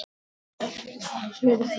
Þín, Andrea.